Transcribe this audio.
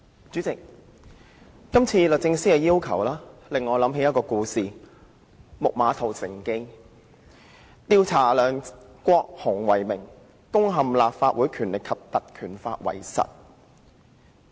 主席，今次律政司的要求令我想起"木馬屠城記"這故事；律政司以調查梁國雄議員為名，實際上是要攻陷《立法會條例》。